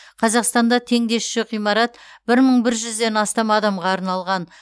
қазақстанда теңдесі жоқ ғимарат бір мың бір жүзден астам адамға арналған